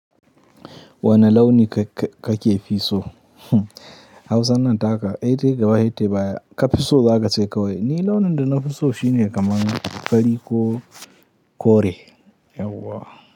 Wani launi ka-ka-ka ke fiso. Hausa nan taka, intai gaba setayi baya, ka fiso daga cewa. Ni launin da na fiso shine kaman fari ko kore. Yauwa.